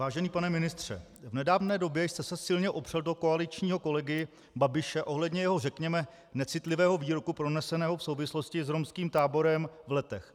Vážený pane ministře, v nedávné době jste se silně opřel do koaličního kolegy Babiše ohledně jeho, řekněme, necitlivého výroku proneseného v souvislosti s romským táborem v Letech.